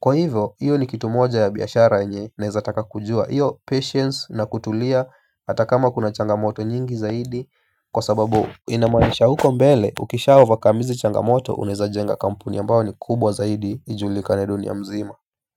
kwa hivyo hiyo ni kitu moja ya biashara yenye naeza taka kujua hiyo patience na kutulia hata kama kuna changamoto nyingi zaidi. Kwa sababu inamaanisha huko mbele ukisha overcome hizi changamoto unaeza jenga kampuni ambayo ni kubwa zaidi ijulikane dunia mzima.